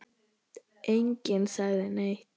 Enginn sagði neitt.